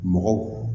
Mɔgɔw